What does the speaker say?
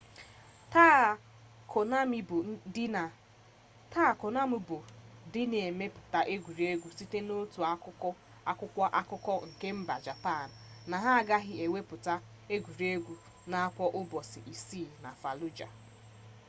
taa konami bụ dị na-emepụta egwuregwu sịrị n'otu akwụkwọ akụkọ nke mba japan na ha agaghị ewepụta egwuruegwu a na akpọ ụbọchị isii na faluja